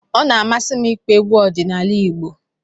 Ọ na-amasị m ịkpọ egwu ọdịnala Igbo